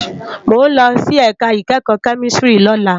Mó n lòsí èká ikèékò kèmísìtírì lólá